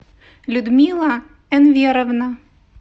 людмила энверовна